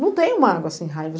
Não tem um magoa assim, raiva.